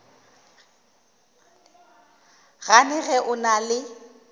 gane ge o na le